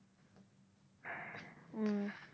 হুম।